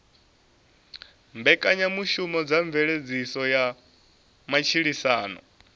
mbekanyamushumo dza mveledziso ya matshilisano